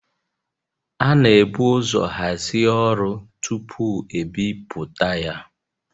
A na-ebu ụzọ hazie ọrụ tupu e bipụta ya